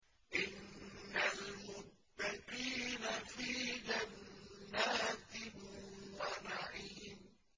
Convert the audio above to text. إِنَّ الْمُتَّقِينَ فِي جَنَّاتٍ وَنَعِيمٍ